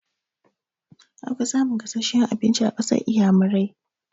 An fi samun gasasshen abinci a ƙasar inƴamurai.